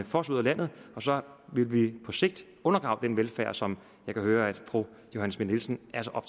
fosse ud af landet og så ville vi på sigt undergrave den velfærd som jeg kan høre at fru johanne schmidt nielsen